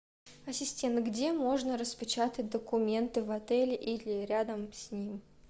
ассистент где можно распечатать документы в отеле или рядом с ним